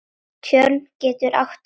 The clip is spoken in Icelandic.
Tjörn getur átt við